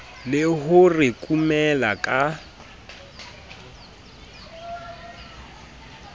le ho re kumela ka